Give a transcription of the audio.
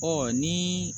Ɔ ni